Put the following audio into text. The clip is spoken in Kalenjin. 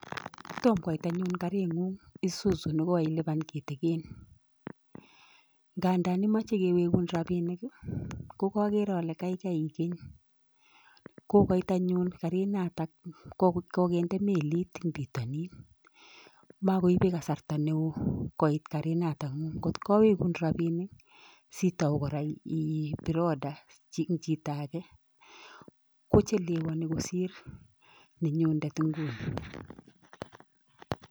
Tom koit anyun karinyuny isuzu ne koilipan kitigin. Kandan imache kewegun robinik, ko kakere ale kaikai igeny. Kokoit anyun karinatak kokinde melit eng pitonin. Makoibei kasarta neo koit karinatak nyuny. Ngot awegun rabinik sitau kora ipir order eng chito age kochelewni kosir nenyundet nguno.